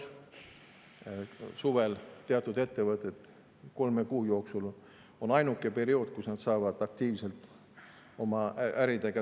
Suvel, kolme kuu jooksul on teatud ettevõtetel ainuke periood, kus nad saavad aktiivselt oma äriga tegeleda.